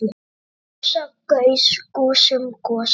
kjósa- kaus- kusum- kosið